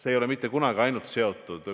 See ei ole mitte kunagi seotud ainult ühe aspektiga.